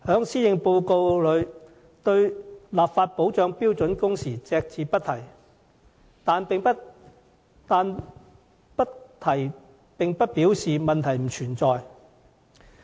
施政報告對立法保障標準工時隻字不提，但不提並不表示問題不存在。